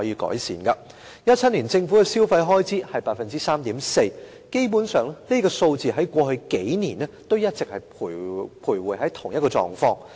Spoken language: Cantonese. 在2017年，政府的消費開支增長是 3.4%。基本上，這數字在過去數年一直徘徊於同一個水平。